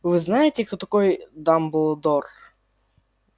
вы знаете кто такой дамблдор